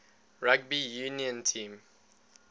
rugby union team